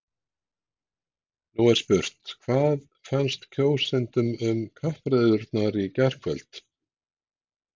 Nú er spurt, hvað fannst kjósendum um kappræðurnar í gærkvöld?